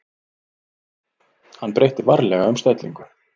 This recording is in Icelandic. Hann breytti varlega um stellingu.